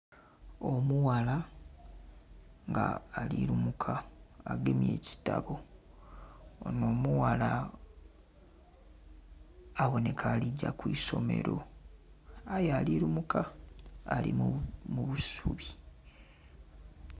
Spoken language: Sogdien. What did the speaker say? Omughala nga ali lumuka nga agemye ekitabo, onho omughala abonheka ali gya ku isomero aye ali lumuka ali mu busubi.